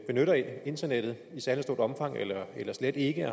benytter internettet i særlig stort omfang eller slet ikke